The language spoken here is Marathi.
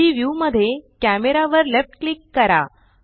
3डी व्यू मध्ये कॅमरा वर लेफ्ट क्लिक करा